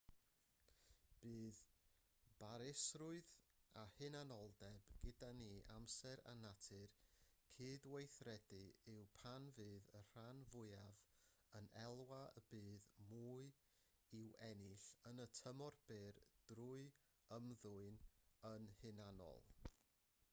bydd barusrwydd a hunanoldeb gyda ni bob amser a natur cydweithredu yw pan fydd y rhan fwyaf yn elwa y bydd mwy i'w ennill yn y tymor byr drwy ymddwyn yn hunanol